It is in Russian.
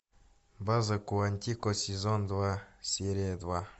база куантико сезон два серия два